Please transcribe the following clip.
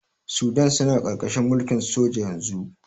Sudan suna ƙarƙarahin mulkin soja yanzu.